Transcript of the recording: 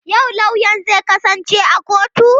Yau lauyan zai kasance a kotu?